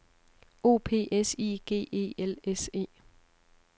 O P S I G E L S E